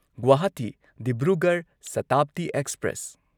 Guwahati Dibrugarh Shatabdi express